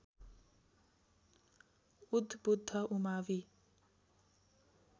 उद् बुद्ध उमावि